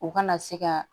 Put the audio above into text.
O kana se ka